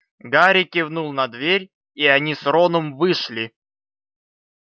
гарри кивнул на дверь и они с роном вышли